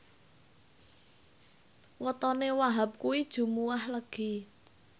wetone Wahhab kuwi Jumuwah Legi